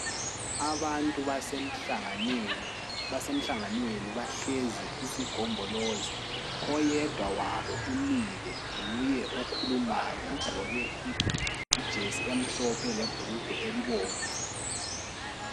Abantu basemhlanganweni bahlezi isigombolozi. Oyedwa wabo umile nguye okhulumayo ugqoke ijesi emhlophe lebhulugwe elibomvu.